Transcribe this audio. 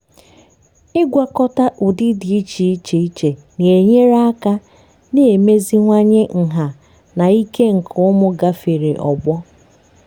ịgwakọta ụdị dị iche iche iche na-enyere aka na-emeziwanye nha na ike nke ụmụ gafere ọgbọ.